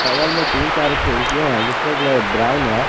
बगल में तीन चार खिड़कियां है जिसका कलर ब्राउन है।